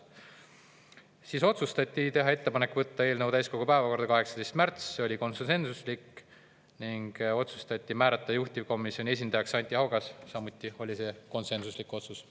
Siis otsustati teha ettepanek võtta eelnõu täiskogu päevakorda 18. märts, see oli konsensuslik otsus, ning otsustati määrata juhtivkomisjoni esindajaks Anti Haugas, samuti konsensuslik otsus.